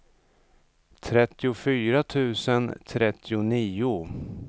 trettiofyra tusen trettionio